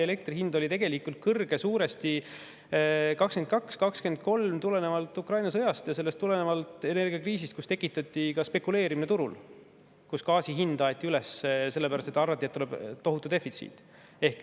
Elektri hind oli kõrge suuresti 2022–2023 tulenevalt Ukraina sõjast ja sellest põhjustatud energiakriisist, kus tekitati ka spekuleerimine turul ja gaasi hind aeti üles sellepärast, et arvati, et tuleb tohutu defitsiit.